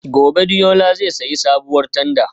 Gobe ​​Deola zai sayi sabuwar tanda